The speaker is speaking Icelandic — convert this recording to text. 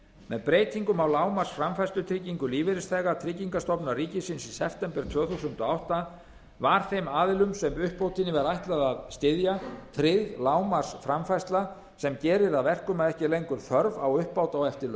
með breytingum á lágmarksframfærslutryggingu lífeyrisþega tryggingastofnunar ríkisins í september tvö þúsund og átta var þeim aðilum sem uppbótinni var ætlað að styðja tryggð lágmarksframfærsla sem gerir að verkum að ekki er lengur þörf á uppbót á